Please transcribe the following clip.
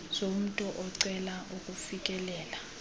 zomntu ocela ukufikelela